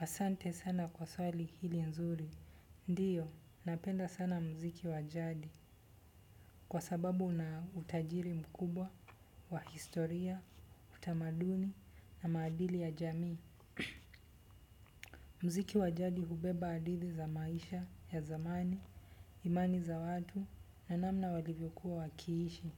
Asante sana kwa swali hili nzuri, ndio, napenda sana muziki wa jadi kwa sababu una utajiri mkubwa, wa historia, utamaduni na maadili ya jamii. Muziki wa jadi hubeba hadithi za maisha, ya zamani, imani za watu na namna walivyokuwa wakiishi.